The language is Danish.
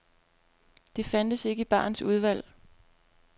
Det fandtes ikke i barens udvalg.